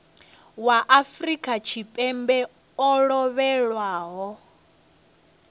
wa afrika tshipembe o lovhelaho